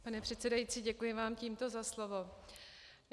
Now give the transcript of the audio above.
Pane předsedající, děkuji vám tímto za slovo.